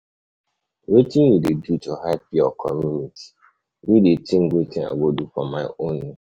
Wetin you dey do to help your community, me dey think wetin i go do for my own.